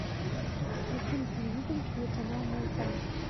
включи на телевизоре телеканал майдан